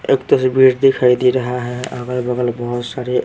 एक तस्वीर दिखाई दे रहा है अगल-बगल बहुत सारे--